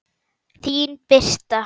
Þín Birta.